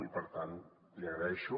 i per tant l’hi agraeixo